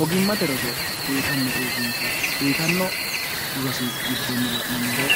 hogimmate roso uyitanno uurrinsha uyitanno rosi giddonni mumoro